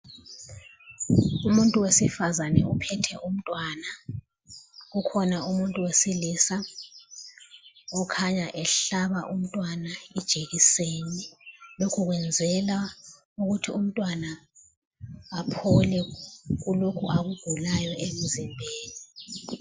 Umuntu wesifazane uphethe umntwana kukhona umuntu owesilisa okhanya ehlaba umntwana ijekiseni, lokho ukwenzela ukuthi umntwana aphole kulokho akugulayo emzimbeni.